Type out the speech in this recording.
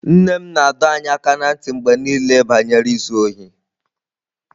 Nne m na-adọ anyị aka ná ntị mgbe niile banyere izu ohi.